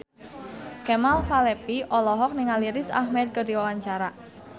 Kemal Palevi olohok ningali Riz Ahmed keur diwawancara